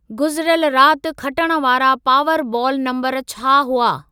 गुज़िरियल राति खटण वारा पावर बॉल नम्बर छा हुआ?